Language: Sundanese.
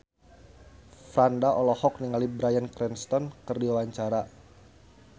Franda olohok ningali Bryan Cranston keur diwawancara